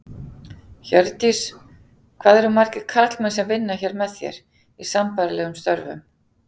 Hjördís: Hvað eru margir karlmenn sem vinna hér með þér, í sambærilegum störfum?